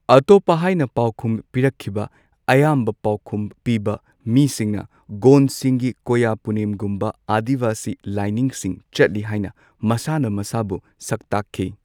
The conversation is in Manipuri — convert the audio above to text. ꯑꯇꯣꯞꯄ ꯍꯥꯏꯅ ꯄꯥꯎꯈꯨꯝ ꯄꯤꯔꯛꯈꯤꯕ ꯑꯌꯥꯝꯕ ꯄꯥꯎꯈꯨꯝ ꯄꯤꯕ ꯃꯤꯁꯤꯡꯅ ꯒꯣꯟꯗꯁꯤꯡꯒꯤ ꯀꯣꯌꯥ ꯄꯨꯅꯦꯝꯒꯨꯝꯕ ꯑꯥꯗꯤꯋꯥꯁꯤ ꯂꯥꯏꯅꯤꯡꯁꯤꯡ ꯆꯠꯂꯤ ꯍꯥꯏꯅ ꯃꯁꯥꯅ ꯃꯁꯥꯕꯨ ꯁꯛꯇꯥꯛꯈꯤ꯫